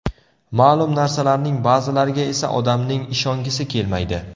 Ma’lum narsalarning ba’zilariga esa odamning ishongisi kelmaydi.